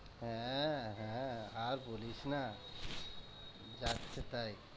হ্যাঁ, হ্যাঁ আর বলিস না যাচ্ছেতাই।